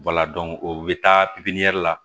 o bɛ taa la